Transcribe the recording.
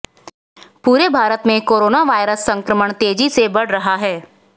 पूरे भारत में corona virus संक्रमण तेजी से बढ़ रहा है